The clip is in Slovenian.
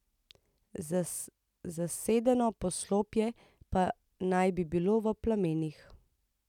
Zasedeno poslopje pa naj bi bilo v plamenih.